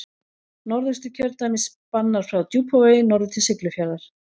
Norðausturkjördæmi spannar frá Djúpavogi norður til Siglufjarðar.